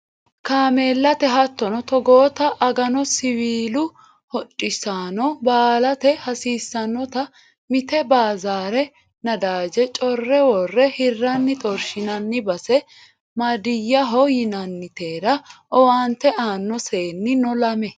Kaameellate hattono togotta agano siwiilu hodhissano baalate hasiisanotta mite bazera nadaje core wore hiranni xorshinanni base madiyaho yinannitera owaante aano seenni no lame